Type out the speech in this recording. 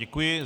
Děkuji.